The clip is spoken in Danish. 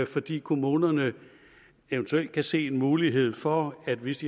fordi kommunerne eventuelt kan se en mulighed for at hvis